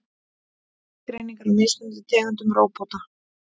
Skilgreiningar á mismunandi tegundum róbóta.